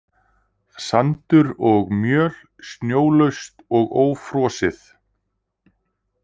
Sandur og möl snjólaust og ófrosið.